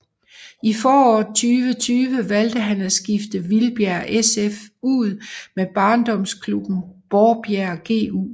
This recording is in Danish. I foråret 2020 valgte han at skifte Vildbjerg SF ud med barndomsklubben Borbjerg GU